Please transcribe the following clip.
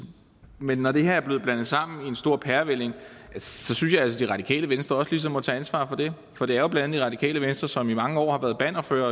men når det her er blevet blandet sammen i en stor pærevælling synes jeg altså at det radikale venstre også ligesom må tage ansvaret for det for det er jo blandt andet det radikale venstre som i mange år har været bannerfører